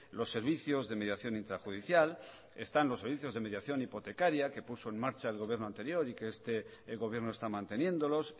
los servicios de mediación intrajudicial están los servicios de mediación hipotecaria que puso en marcha el gobierno anterior y que este gobierno está manteniéndolos